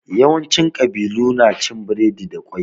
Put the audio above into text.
Yawanci ƙabilu na cin biredi da ƙwai.